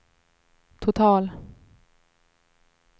total